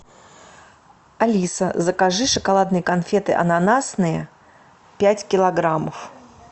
алиса закажи шоколадные конфеты ананасные пять килограммов